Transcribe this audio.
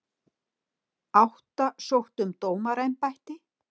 Átta sóttu um dómaraembætti